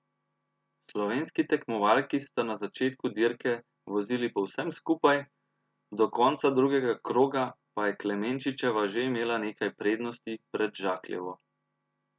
Slovenski tekmovalki sta na začetku dirke vozili povsem skupaj, do konca drugega kroga pa je Klemenčičeva že imela nekaj prednosti pred Žakljevo.